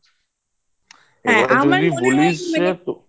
হ্যাঁ আমার মনে হয় কি